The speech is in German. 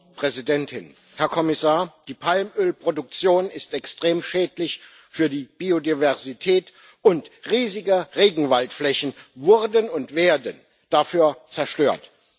Frau Präsidentin, Herr Kommissar! Die Palmölproduktion ist extrem schädlich für die Biodiversität, und riesige Regenwaldflächen wurden und werden dafür zerstört.